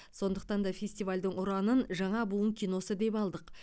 сондықтан да фестивальдің ұранын жаңа буын киносы деп алдық